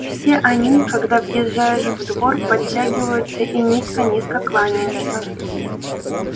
все они когда въезжаешь в двор подтягиваются и низко-низко кланяются